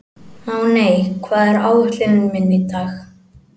Máney, hvað er á áætluninni minni í dag?